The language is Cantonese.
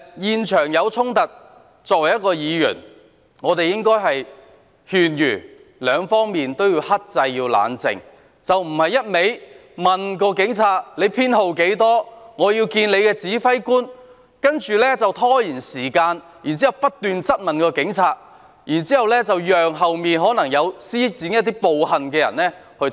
現場發生衝突，作為議員，我們應該勸諭雙方克制、冷靜，而非不斷查問警員編號，要求見他的指揮官，然後拖延時間，不斷質問警員，讓身後可能曾作出暴力行為的人逃走。